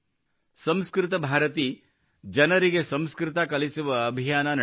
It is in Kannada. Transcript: ಸಂಸ್ಕೃತ ಭಾರತಿ ಜನರಿಗೆ ಸಂಸ್ಕೃತ ಕಲಿಸುವ ಅಭಿಯಾನ ನಡೆಸುತ್ತದೆ